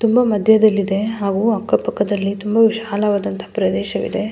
ತುಂಬಾ ಮದ್ಯದಲ್ಲಿ ಇದೆ ಹಾಗು ಅಕ್ಕ ಪಕ್ಕದಲ್ಲಿ ತುಂಬಾ ವಿಶಾಲವಾದಂಥ ಪ್ರದೇಶ ಇದೆ.